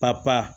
Papa pa